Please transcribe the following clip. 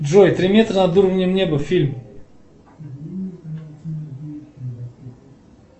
джой три метра над уровнем неба фильм